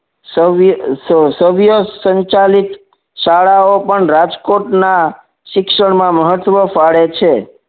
સવ્ય સવ્ય સંચાલિત શાળાઓ પણ રાજકોટના શિક્ષણમાં મહત્વ ફાડે છે